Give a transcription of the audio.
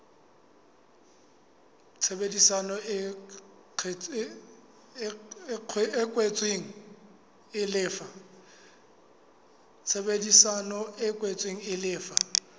tshebedisano e kwetsweng e lefa